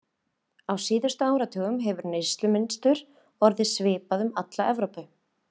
Á síðustu áratugum hefur neyslumynstur orðið svipað um alla Evrópu.